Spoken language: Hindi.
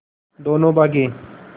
दोनों भागे